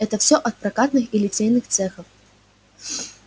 это всё от прокатных и литейных цехов